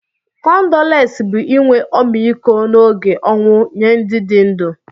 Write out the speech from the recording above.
kọndoles bu inwe ọmịkọ na oge onwụ nye ndi di ndu..